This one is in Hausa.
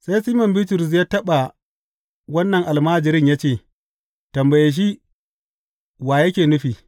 Sai Siman Bitrus ya taɓa wannan almajirin ya ce, Tambaye shi, wa yake nufi?